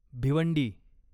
Bhiwandi